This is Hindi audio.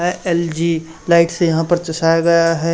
ऐ एल_जी लाइट से यहां पे चसाया गया है।